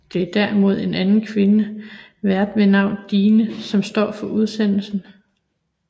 Det er derimod en anden kvinde vært ved navn Dine som stå for udsendelsen